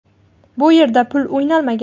Bu yerda pul o‘ynalmagan.